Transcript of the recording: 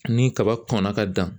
Ni kaba kɔnna ka dan.